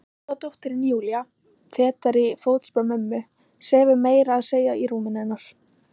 Góða dóttirin Júlía, fetar í fótspor mömmu, sefur meira að segja í rúminu hennar.